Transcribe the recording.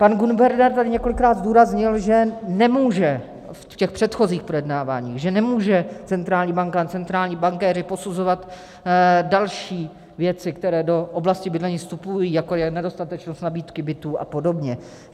Pan guvernér tady několikrát zdůraznil, že nemůže - v těch předchozích projednáváních - že nemůže centrální banka a centrální bankéři posuzovat další věci, které do oblasti bydlení vstupují, jako je nedostatečnost nabídky bytů a podobně.